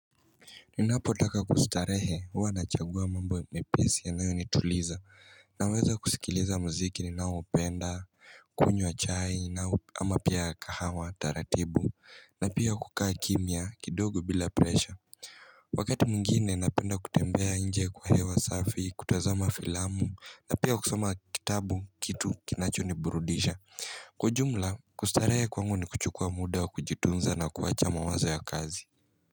Ninapotaka kustarehe huwa nachagua mambo mepesi yanayo nituliza Naweza kusikiliza mziki naupenda, kunywa chai, ama pia kahawa, taratibu na pia kukaa kimya, kidogo bila presha Wakati mwingini, napenda kutembea nje kwa hewa safi, kutazama filamu na pia kus9ma kitabu, kitu kinachoniburudisha Kwa ujumla, kustarehe kwangu ni kuchukua muda wa kujitunza na kuwacha mawazo ya kazi.